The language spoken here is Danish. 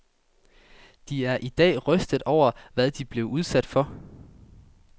De er i dag rystede over, hvad de blev udsat for.